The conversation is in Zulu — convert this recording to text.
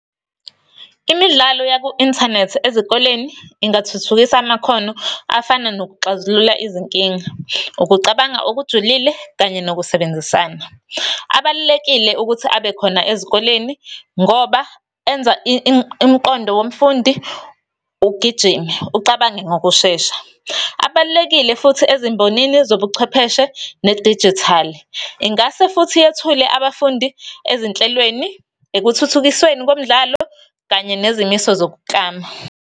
Imidlalo yaku-inthanethi ezikoleni, ingathuthukisa amakhono afana nokuxazulula izinkinga, ukucabanga okujulile, kanye nokusebenzisana. Abalulekile ukuthi abekhona ezikoleni, ngoba enza imiqondo womfundi ugijime, ucabange ngokushesha. Abalulekile futhi ezimbonini zobuchwepheshe, nedijithali. Ingase futhi yethule abafundi ezinhlelweni, ekuthuthukisweni komdlalo, kanye nezimiso zokuklama.